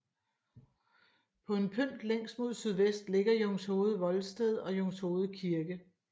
På en pynt længst mod sydvest ligger Jungshoved Voldsted og Jungshoved Kirke